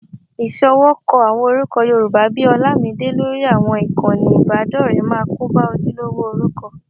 Ìṣọwọ́kọ àwọn orúkọ Yorùbá bí i Horlamide lórí àwọn ìkànnì ìbádọ́rẹ̀ẹ́ máa kóba ojúlówó orúkọ